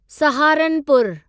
सहारनपुरु